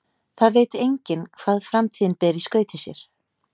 Það veit enginn hvað framtíðin ber í skauti sér.